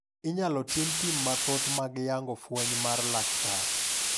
Inyalo tim pim mathoth mag yango fweny mar laktar.